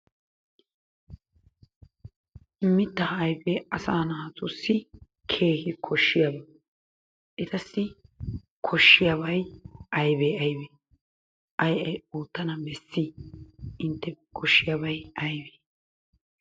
Mittaa ayifee asaa naatussi keehi koshshiyaba. Etassi koshshiyabay ayibee ayibee? Ayi ayi oottana bessii? Intteppe koshshiyabay ayibee?